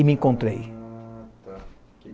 E me encontrei. Ah tá.